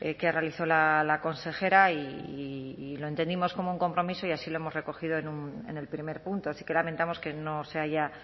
que realizó la consejera y lo entendimos como un compromiso y así lo hemos recogido en el primer punto sí que lamentamos que no se haya